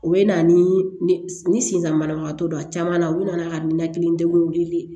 U bɛ na ni sentanbana don a caman na u bɛna ka ninakili degun wele